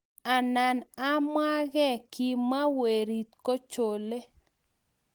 anan amwaa kei age kimwa werit kochole